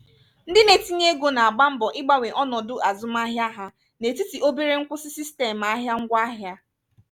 ndị na-etinye ego na-agba mbọ ịgbanwe ọnọdụ azụmahịa ha n'etiti obere nkwụsị sistemụ ahịa ngwaahịa